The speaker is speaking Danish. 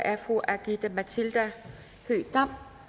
er fru aki matilda høegh dam